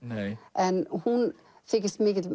en hún þykist mikill